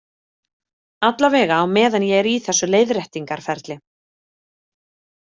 Allavega á meðan ég er í þessu leiðréttingarferli.